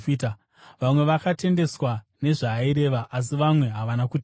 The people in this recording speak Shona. Vamwe vakatendeswa nezvaaireva, asi vamwe havana kutenda.